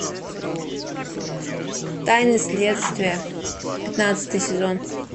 тайны следствия пятнадцатый сезон